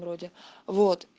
вроде вот